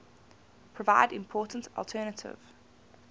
provide important alternative